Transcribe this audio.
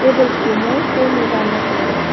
table kho ma fan ae dan la taega.